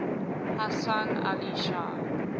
hasan ali shah